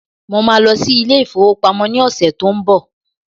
Mo máa lọ sí ilé ìfowópamọ́ ní ọ̀sẹ̀ tó ń bọ̀